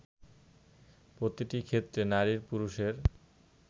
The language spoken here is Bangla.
প্রতিটি ক্ষেত্রে নারী পুরুষের